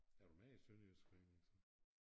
Er du med i sønderjysk forening så?